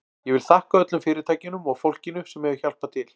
Ég vil þakka öllum fyrirtækjunum og fólkinu sem hefur hjálpað til.